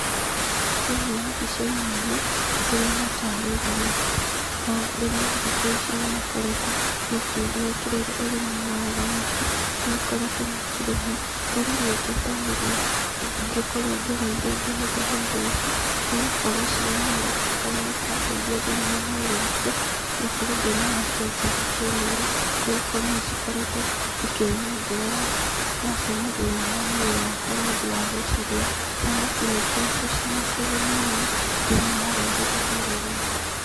Thĩĩnĩ wa mbĩca-ĩnĩ ĩno ndĩrona tarĩ thamaki na arĩmi thĩkũ ĩcĩ nĩmakoretwo magĩkĩrĩra ũrĩmĩ wa thamaki nĩmakoretwo makĩrĩma marĩa nĩe ĩngĩtarĩrĩa ĩngĩkorwo gĩreĩĩre gĩhũthĩra ĩndo ĩcĩ nĩ gũkorwo cĩgũnĩte ona ĩkandeĩthĩa thĩinĩ wa mwĩrĩ wakwa ngakorwo ndĩ na afya njega kĩmwĩrĩ nĩgũkorwo nĩcĩkoretwo ĩkĩnyongerera calcĩamũ thĩĩnĩ wa mwĩrĩ wakwa nĩ ũndũ wa gũcĩrĩa ,thamaki nĩĩkoretwo cĩna kĩgũnĩ mũno thĩinĩ wa rũrĩrĩ rũrũ rwĩtũ.